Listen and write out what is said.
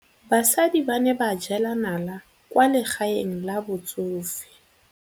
Basadi ba ne ba jela nala kwaa legaeng la batsofe.